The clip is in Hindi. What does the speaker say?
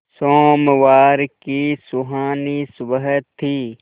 सोमवार की सुहानी सुबह थी